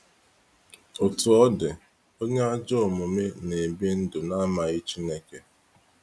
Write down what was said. Otu ọ dị, onye ajọ omume na ebi ndụ na amaghị Chineke.